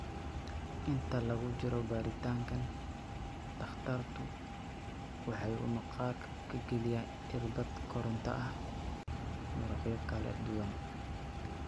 Inta lagu jiro baaritaankan, takhtarku waxa uu maqaarka ka geliyaa irbad koronto ah muruqyo kala duwan.